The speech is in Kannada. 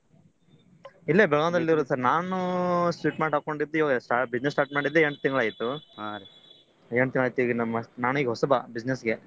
ಇಲ್ಲೆ ಬೆಳಗಾಂದಲ್ಲೇ ಇರೋದ sir ನಾನೂ sweet mart ಹಾಕ್ಕೊಂಡಿದ್ದೆ ಇವಾಗ business start ಮಾಡಿದ್ದೆ ಎಂಟ್ ತಿಂಗಳಾಯ್ತು ಎಂಟ್ ತಿಂಗಳಾಯ್ತು ನಾನೂ ಈಗ ಹೊಸಬಾ business ಗೆ.